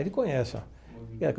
Ele conhece ó.